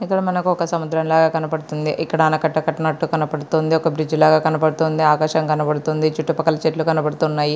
ఇక్కడ మనకు ఒక సముద్రం లాగా కనబడుతుంది. ఇక్కడ ఆనకట్ట కట్టినట్టు కనపడుతుంది. ఒక బ్రిడ్జి లాగా కనిపెడుతుంది. ఆకాశం కనబడుతుంది. చుట్టుపక్కల చెట్లు కనబడుతూ ఉన్నాయి.